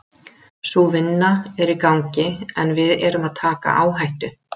Sú vinna er í gangi en við erum að taka áhættu.